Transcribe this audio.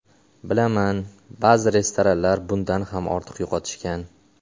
Bilaman, ba’zi restoratorlar bundan ham ortiq yo‘qotishgan.